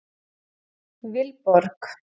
Vilborg